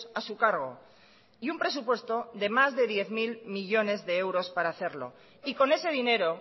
a su cargo y un presupuesto de más de diez mil millónes de euros para hacerlo y con ese dinero